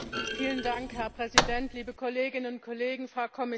Herr Präsident, liebe Kolleginnen und Kollegen, Frau Kommissarin!